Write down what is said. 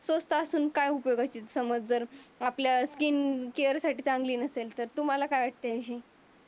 स्वस्ता असून काय उपयोग आहे. हे समजलं आपल्या स्किन केअर साठी चांगली नसेल तुम्हाला काय वाटते.